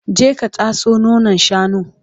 je ka tatso nonon shanun!